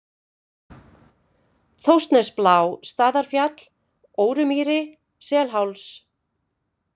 Þórsnesblá, Staðarfjall, Órumýri, Selsháls